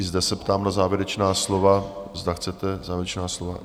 I zde se ptám na závěrečná slova, zda chcete závěrečná slova?